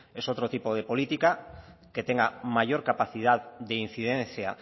es otro tipo de política que tenga mayor capacidad de incidencia